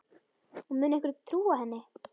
Og mun einhver trúa henni?